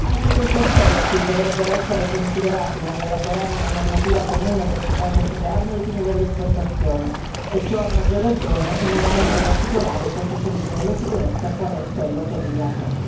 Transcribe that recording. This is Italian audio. Anche questi aspetti dovrebbero essere considerati nell'elaborare una normativa comune ed efficace sulle armi ai fini dell'esportazione e ciò a maggior ragione in un momento particolare sotto il profilo della sicurezza quale è quello che viviamo.